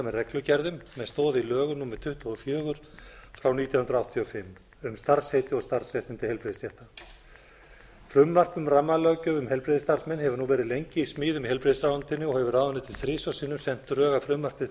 reglugerðum með stoð í lögum númer tuttugu og fjögur nítján hundruð áttatíu og fimm um starfsheiti og starfsréttindi heilbrigðisstétta frumvarp um rammalöggjöf um heilbrigðisstarfsmenn hefur nú verið lengi í smíðum í heilbrigðisráðuneytinu og hefur ráðuneytið þrisvar sinnum sent drög að frumvarpi til